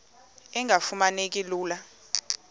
engafuma neki lula